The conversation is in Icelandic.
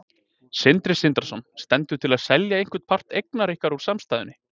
Sindri Sindrason: Stendur til að selja einhvern part eigna ykkar úr samstæðunni?